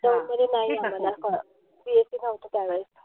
दौंड मध्ये नाई आम्हाला BSC नव्हतं त्यावेळेस.